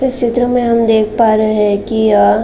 इस चित्र में हम देख पा रहे है कि अ--